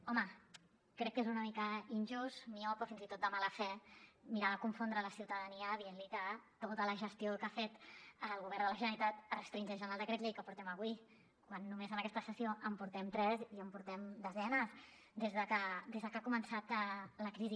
home crec que és una mica injust miop o fins i tot de mala fe mirar de confondre la ciutadania dient li que tota la gestió que ha fet el govern de la generalitat es restringeix al decret llei que portem avui quan només en aquesta sessió en portem tres i en portem desenes des de que ha començat la crisi